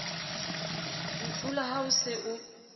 ntlhola ha o se o